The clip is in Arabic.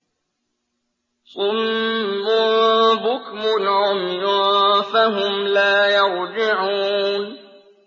صُمٌّ بُكْمٌ عُمْيٌ فَهُمْ لَا يَرْجِعُونَ